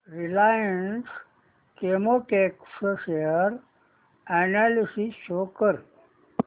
Reliance Chemotex share analysis show कर